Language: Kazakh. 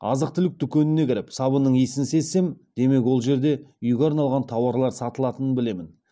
азық түлік дүкеніне кіріп сабынның иісін сезсем демек ол жерде үйге арналған тауарлар сатылатынын білемін